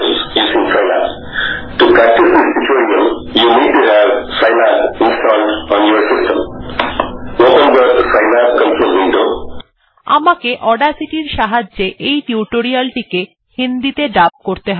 tutorial চালানো যাক আমাকে অডাসিটি এর সাহায্যে এই টিউটোরিয়ালটিকে হিন্দিতে ডাব করতে হবে